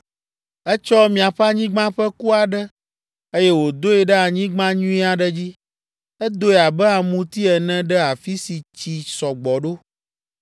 “ ‘Etsɔ miaƒe anyigba ƒe ku aɖe, eye wòdoe ɖe anyigba nyui aɖe dzi. Edoe abe amuti ene ɖe afi si tsi sɔ gbɔ ɖo.